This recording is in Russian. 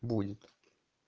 будет